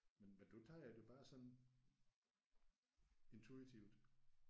Men men du tager det bare sådan intuitivt